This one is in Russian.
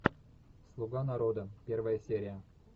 слуга народа первая серия